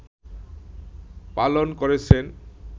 পালন করছেন